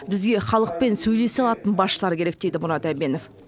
бізге халықпен сөйлесе алатын басшылар керек дейді мұрат әбенов